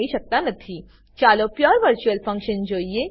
ચાલો pure virtual function pure virtual function જોઈએ